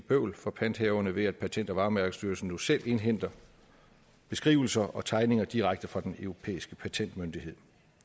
bøvl for panthaverne ved at patent og varemærkestyrelsen nu selv indhenter beskrivelser og tegninger direkte fra den europæiske patentmyndighed